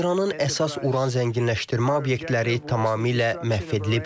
İranın əsas uran zənginləşdirmə obyektləri tamamilə məhv edilib.